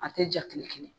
A tɛ ja tile kelen